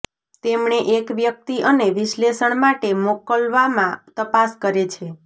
તેમણે એક વ્યક્તિ અને વિશ્લેષણ માટે મોકલવામાં તપાસ કરે છે